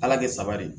Ala kɛ saba de